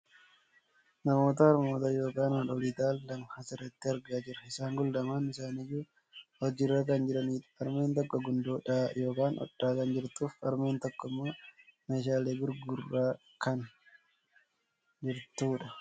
Namoota harmoota yookaan haadholii ta'an lama asirratti argaa jirra. isaan kun lamaan isaaniiyyu hojiirra kan jirani dha. Harmeen tokko gundoo dhahaa yookaan hodhaa kan jirtuufi harmeen tokkommoo meeshaalee gurguraa kan jirtudha.